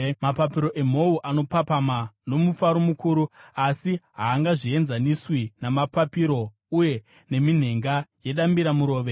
“Mapapiro emhou anopapama nomufaro mukuru, asi haangaenzaniswi namapapiro uye neminhenga yedambiramurove.